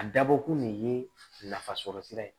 A dabɔ kun de ye nafasɔrɔsira ye